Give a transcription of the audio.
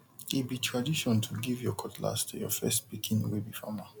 e be tradition to give your cutlass to your first pikin wey be farmer